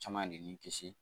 Caman de bi kisi